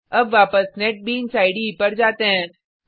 अब वापस NetBeans IDE पर जाते हैं